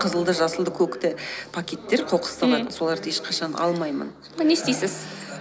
қызылды жасылды көкті пакеттер қоқыс салатын мхм соларды ешқашан алмаймын не істейсіз